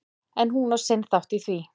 En hún á sinn þátt í því.